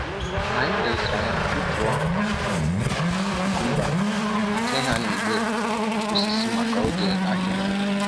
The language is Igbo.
Anyi leziri anya tụtụọ um kukọmba ma tinye ha n'igbe osisi maka oge ahịa.